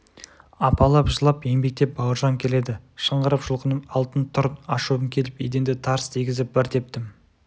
апалап жылап еңбектеп бауыржан келеді шыңғырып жұлқынып алтын тұр ашуым келіп еденді тарс дегізіп бір тептім